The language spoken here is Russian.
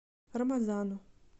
рамазану